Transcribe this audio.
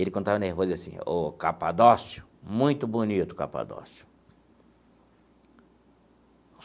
Ele, quando estava nervoso, dizia assim, ó, Capadócio, muito bonito, Capadócio.